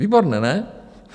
Výborné, ne?